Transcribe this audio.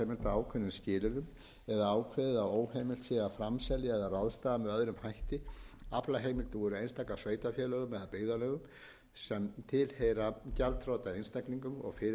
ákveðnum skilyrðum eða ákveðið að óheimilt sé að framselja eða ráðstafa með öðrum hætti aflaheimildum úr einstökum sveitarfélögum eða byggðarlögum sem tilheyra gjaldþrota einstaklingum og fyrirtækjum eða einstaklingum og